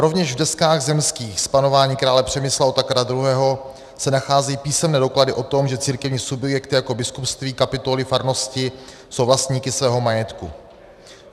Rovněž v deskách zemských z panování krále Přemysla Otakara II. se nacházejí písemné doklady o tom, že církevní subjekty jako biskupství, kapituly, farnosti jsou vlastníky svého majetku.